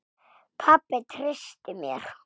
Pabbi treysti mér.